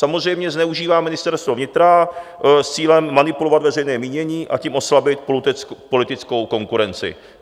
Samozřejmě zneužívá Ministerstvo vnitra s cílem manipulovat veřejné mínění, a tím oslabit politickou konkurenci.